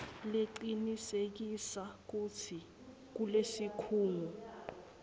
lecinisekisa kutsi lesikhungo